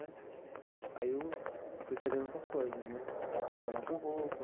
Aí eu fui fazendo outras coisas né, trabalhar com roupa,